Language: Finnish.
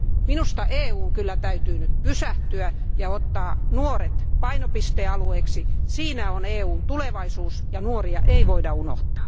Minusta EUn täytyy kyllä nyt pysähtyä ja ottaa nuoret painopistealueeksi, siinä on EUn tulevaisuus, ja nuoria ei voida unohtaa.